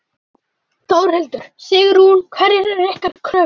Þórhildur: Sigrún, hverjar eru ykkar kröfur?